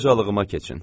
Qocalığıma keçin.